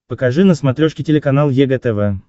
покажи на смотрешке телеканал егэ тв